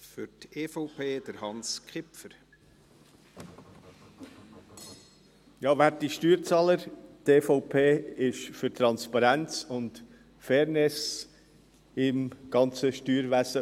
Werte Steuerzahler, die EVP ist für Transparenz und Fairness im ganzen Steuerwesen.